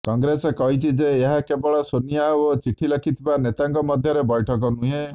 କଂଗ୍ରେସ କହିଛି ଯେ ଏହା କେବଳ ସୋନିଆ ଓ ଚିଠି ଲେଖିଥିବା ନେତାଙ୍କ ମଧ୍ୟରେ ବୈଠକ ନୁହେଁ